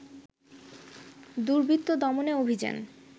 দুর্বৃত্ত দমনে অভিযান